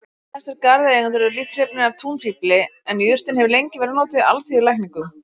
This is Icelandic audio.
Flestir garðeigendur eru lítt hrifnir af túnfífli en jurtin hefur lengi verið notuð í alþýðulækningum.